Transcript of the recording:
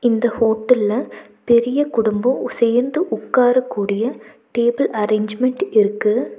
இந்த ஹோட்டல்ல பெரிய குடும்போ சேர்ந்து உக்காரக்கூடிய டேபிள் அரேஞ்ச்மென்ட் இருக்கு.